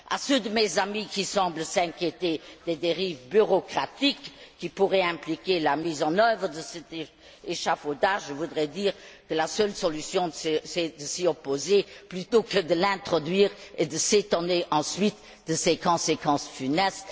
À ceux de mes amis qui semblent s'inquiéter des dérives bureaucratiques que pourrait impliquer la mise en œuvre de cet échafaudage, je voudrais dire que la seule solution est de s'y opposer plutôt que de l'introduire et de s'étonner ensuite de ses conséquences funestes.